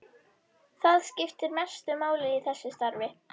Misjafnt er hversu lengi einkennin vara, eða allt frá tveimur til níu daga.